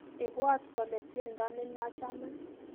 Ibwot kole tiendo ni nachame